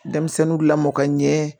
Denmisɛnninw lamɔ ka ɲɛ